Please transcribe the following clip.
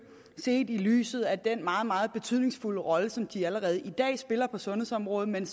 set i lyset af den meget meget betydningsfulde rolle som de allerede spiller på sundhedsområdet men